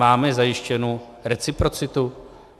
Máme zajištěnu reciprocitu?